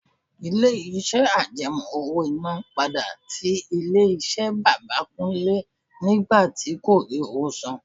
Ilé-iṣẹ́ àjẹmó owó-iná padà tí ilé-iṣẹ́ bàbà Kúnlẹ́ nígbà tí kò rí owó san.